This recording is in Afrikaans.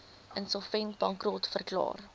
insolvent bankrot verklaar